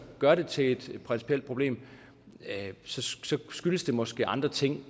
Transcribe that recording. gør det til et principielt problem skyldes det måske andre ting